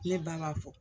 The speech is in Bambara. Ne ba b'a fɔ